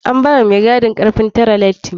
An bawa mai gadin karfin tare lati.